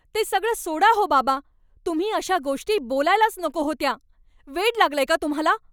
ते सगळं सोडा हो, बाबा. तुम्ही अशा गोष्टी बोलायलाच नको होत्या. वेड लागलंय का तुम्हाला?